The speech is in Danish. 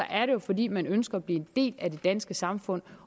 er det jo fordi man ønsker at blive en del af det danske samfund